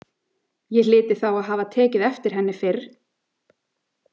Ég hlyti þá að hafa tekið eftir henni fyrr.